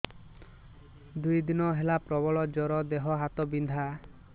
ଦୁଇ ଦିନ ହେଲା ପ୍ରବଳ ଜର ଦେହ ହାତ ବିନ୍ଧା